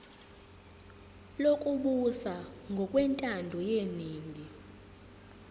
lokubusa ngokwentando yeningi